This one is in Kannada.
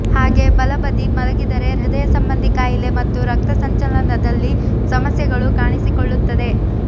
ಹಾಗೇ ಬಲಬದಿ ಮಲಗಿದರೆ ಹೃದಯ ಸಂಬಂಧಿ ಕಾಯಿಲೆ ಮತ್ತು ರಕ್ತ ಸಂಚಲನದಲ್ಲಿ ಸಮಸ್ಯೆಗಳು ಕಾಣಿಸಿಕೊಳ್ಳುತ್ತದೆ